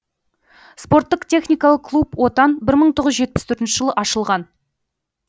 спорттық техникалық клуб отан бір мың тоғыз жетпіс төртінші жылы ашылған